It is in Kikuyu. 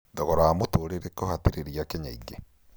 Thogora wa mũtũrĩre kũhatĩrĩria Akenya aingĩ